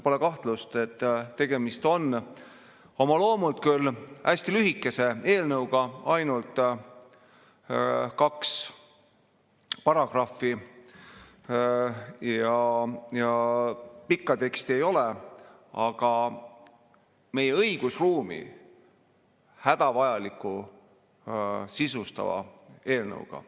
Pole kahtlust, et tegemist on oma loomult küll hästi lühikese eelnõuga – ainult kaks paragrahvi, pikka teksti ei ole –, aga samas meie õigusruumi hädavajalikult sisustava eelnõuga.